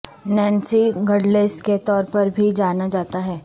Nancy Douglas کے طور پر بھی جانا جاتا ہے